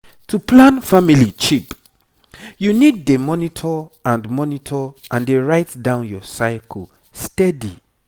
to plan family cheap you need dey monitor and monitor and dey write down your cycle steady.